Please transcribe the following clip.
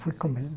Foi?